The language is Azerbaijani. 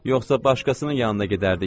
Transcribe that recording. Yoxsa başqasının yanına gedərdik.